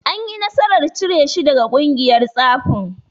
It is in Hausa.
Anyi nasarar cire shi daga ƙungiyar tsafin.